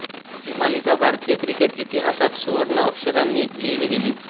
ही मालिका भारतीय क्रिकेट इतिहासात सुवर्णअक्षरांनी लिहीली गेली